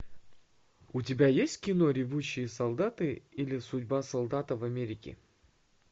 у тебя есть кино ревущие солдаты или судьба солдата в америке